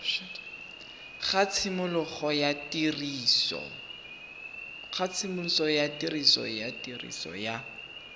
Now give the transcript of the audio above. ga tshimologo ya tiriso ya